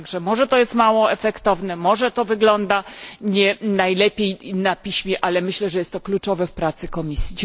Tak że może to jest mało efektowne, może to wygląda nie najlepiej na piśmie, ale myślę, że jest to kluczowe w pracy Komisji.